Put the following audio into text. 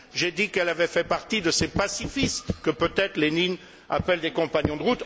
J'ai dit qu'elle avait fait partie de ces pacifistes que peut être Lénine appelle des compagnons de